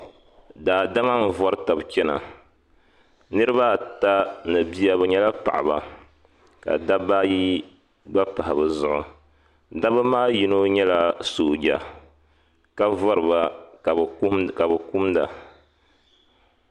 Daadama n-vari tabi chana. Niriba ata ni bia bɛ nyɛla paɣiba ka dabba ayi gba pahi bɛ zuɣu. Dabba maa yino nyɛla sooja ka vari ba ka bɛ kumda.